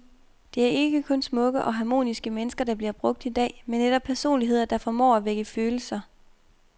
Det er ikke kun smukke og harmoniske mennesker der bliver brugt i dag, men netop personligheder, der formår at vække følelser.